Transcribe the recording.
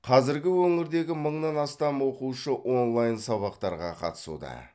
қазір өңірдегі мыңнан астам оқушы онлайн сабақтарға қатысуда